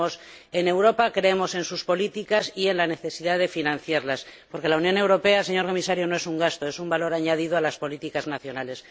Creemos en Europa, creemos en sus políticas y en la necesidad de financiarlas, porque la Unión Europea, señor Comisario, no es un gasto, es un valor añadido a las políticas nacionales.